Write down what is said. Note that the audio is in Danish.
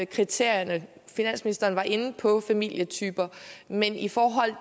kriterierne finansministeren var inde på familietyper men i forhold